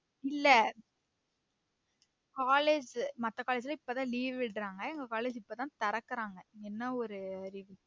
இல்ல college மத்த college லாம் இப்பதான் leave விடுராங்க எங்க college இப்பதான் திறக்குறாங்க என்னா ஒரு அறிவு